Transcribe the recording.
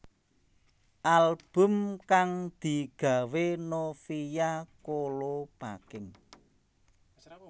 Album kang digawé Novia Kolopaking